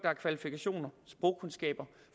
har kvalifikationer sprogkundskaber